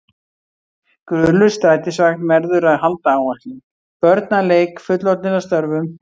Gulur strætisvagn verður að halda áætlun, börn að leik, fullorðnir að störfum.